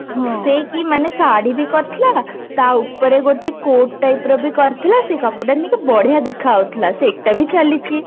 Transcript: ସେ କି ମାନେ ଶାଢ଼ୀ ବି କରିଥିଲା ତା ଉପରେ ଗୋଟେ coat type ର ବି କରିଥିଲା ସେ କପଡା ନେଇକି ବଢିଆ ଦେଖା ଯାଉଥିଲା ସେଟା ବି ଚାଲିଛି